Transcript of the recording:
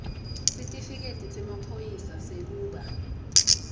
sitifiketi semaphoyisa sekuba